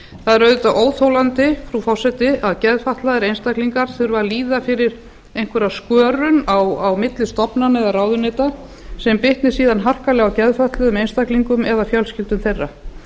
það er auðvitað óþolandi frú forseti að geðfatlaðir einstaklingar þurfi að líða fyrir einhverja skörun á milli stofnana eða ráðuneyta sem bitni síðan harkalega á geðfötluðum einstaklingum eða fjölskyldum þeirra